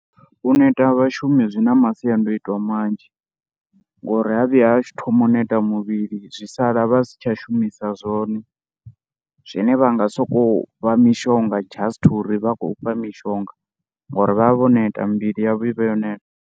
U neta ha vhashumi zwi na masiandoitwa manzhi ngori ha vhuya ha thoma u neta muvhili zwi sala vha si tsha shumisa zwone zwine vha nga sokou vha fha mishonga just uri vha khou fha mishonga ngori vha vha vho neta, mivhili yavho i vha yo neta.